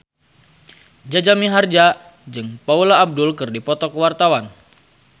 Jaja Mihardja jeung Paula Abdul keur dipoto ku wartawan